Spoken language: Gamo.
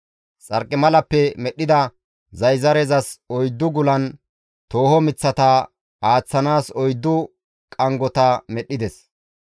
Xarqimalappe medhdhida zayzarezas oyddu gulan tooho miththata aaththanaas oyddu qanggota medhdhides.